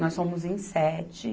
Nós somos em sete.